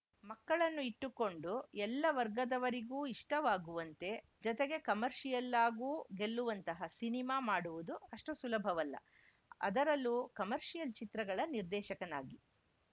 ಮಕ್ಕಳನ್ನು ಇಟ್ಟುಕೊಂಡು ಎಲ್ಲ ವರ್ಗದವರಿಗೂ ಇಷ್ಟವಾಗುವಂತೆ ಜತೆಗೆ ಕಮರ್ಷಿಯಲ್ಲಾಗೂ ಗೆಲ್ಲುವಂತಹ ಸಿನಿಮಾ ಮಾಡುವುದು ಅಷ್ಟುಸುಲಭವಲ್ಲ ಅದರಲ್ಲೂ ಕಮರ್ಷಿಯಲ್‌ ಚಿತ್ರಗಳ ನಿರ್ದೇಶಕನಾಗಿ